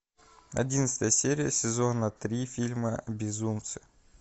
одиннадцатая серия сезона три фильма безумцы